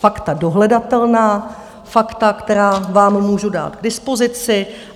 Fakta dohledatelná, fakta, která vám můžu dát k dispozici.